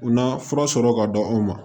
U na fura sɔrɔ ka di aw ma